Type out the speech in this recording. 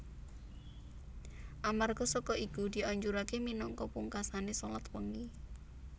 Amarga saka iku dianjuraké minangka pungkasané shalat wengi